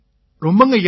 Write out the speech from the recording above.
ரொம்பங்கய்யா